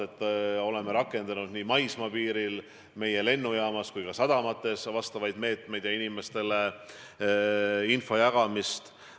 Me oleme rakendanud meie maismaapiiril, meie lennujaamas ja ka sadamates vajalikke meetmeid ja jaganud infot.